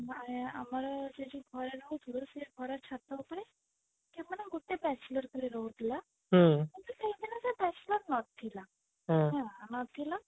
ଆମର ସେଇଥି ଘରେ ରହୁଥିଲୁ ସେଇ ଘରେ ଛାତ ଉପରେ ସେ ମାନେ ଗୋଟେ bachelor ଖାଲି ରହୁଥିଲା ସେଇଦିନ ସେ bachelor ନଥିଲା ହେଲା ନଥିଲା